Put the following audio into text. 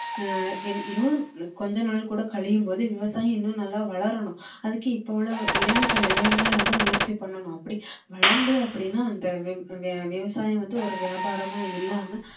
அஹ் இன்னும் கொஞ்ச நாள் கூட கழியும்போது விவசாயம் இன்னும் நல்லா வளரணும் அதுக்கு இப்போ உள்ள இளைஞர்கள் எல்லாருமே வந்து முயற்சி பண்ணணும் அப்படி வளர்ந்து அப்படின்னா அந்த விவ~விவசாயம் வந்து ஒரு வியாபாரமா இல்லாம